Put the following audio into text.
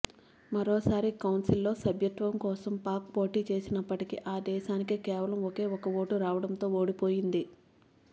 మరోసారి కౌన్సిల్లో సభ్యత్వం కోసం పాక్ పోటీ చేసినప్పటికీ ఆ దేశానికి కేవలం ఒకే ఒక ఓటు రావడంతో ఓడిపోయింది